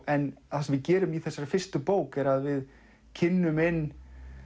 en það sem við gerum í þessari fyrstu bók er að við kynnum inn